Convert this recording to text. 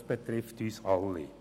Dies betrifft uns alle.